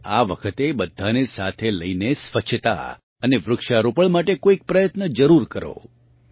તમે આ વખતે બધાંને સાથે લઇને સ્વચ્છતા અને વૃક્ષારોપણ માટે કોઇક પ્રયત્ન જરૂર કરો